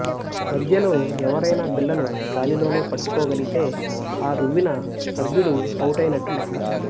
మధ్యలో ఎవరైనా బిళ్ళను గాలిలోనే పట్టుకోగలిగితే ఆ రువ్విన సభ్యుడు అవుటైనట్టు లెక్క